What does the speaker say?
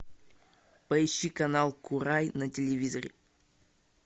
поищи канал курай на телевизоре